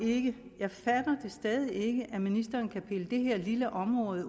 det jeg fatter stadig ikke at ministeren kan pille det her lille område